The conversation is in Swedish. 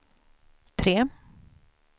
tre